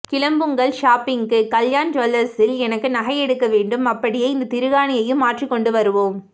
கிளம்புங்கள் ஷாப்பிங்குக்கு கல்யாண் ஜூவல்லர்ஸில் எனக்கு நகை எடுக்க வேண்டும் அப்படியே இந்த திருகாணியையும் மாற்றிக்கொண்டு வருவோம்